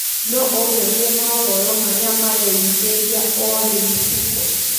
no unyonĩe mohoro marĩa mareyũmiria o rĩũ tuko